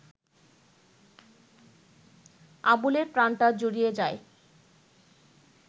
আবুলের প্রাণটা জুড়িয়ে যায়